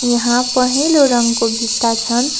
यहाँ पहेँलो रङको भित्ता छन्।